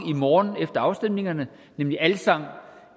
i morgen efter afstemningerne nemlig alsang